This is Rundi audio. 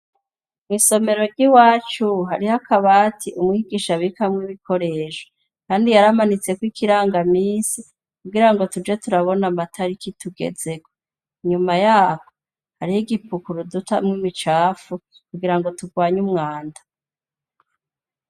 Mw'isomero ry'iwacu hariho akabati umwigisha bikamwe ibikoresha, kandi yaramanitseko ikiranga misi kugira ngo tuje turabona amatariki tugezeko, inyuma yako hariho igipukuru dutamwo imicafu kugira ngo turwanye umwanda.